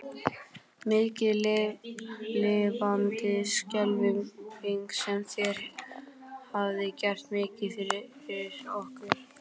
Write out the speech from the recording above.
Mikið lifandis skelfing sem þér hafið gert mikið fyrir okkur.